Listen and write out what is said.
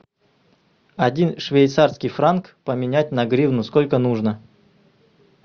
один швейцарский франк поменять на гривну сколько нужно